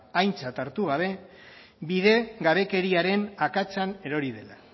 aintzat hartu gabe bidegabekeriaren akatsean erori dela